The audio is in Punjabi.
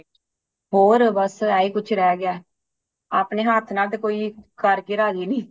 ਹੋਰ ਬੱਸ ਇਹੀ ਕੁਛ ਰਹਿ ਗਿਆ ਏ ਅਪਣੇ ਹਾਥ ਨਾਲ ਤੇ ਕੋਈ ਕਰ ਕੇ ਰਾਜੀ ਨਹੀਂ